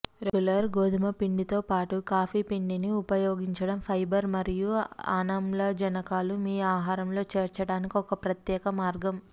regular గోధుమ పిండితోపాటు coffee పిండిని ఉపయోగించడం ఫైబర్ మరియు అనామ్లజనకాలు మీ ఆహారంలో చేర్చడానికి ఒక ప్రత్యేక మార్గం